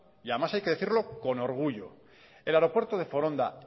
y además hay que decirlo con orgullo el aeropuerto de foronda